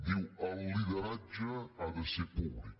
diu el lideratge ha de ser pú·blic